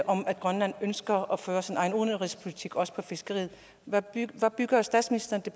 om at grønland ønsker at føre sin egen udenrigspolitik også inden for fiskeriet hvad bygger bygger statsministeren det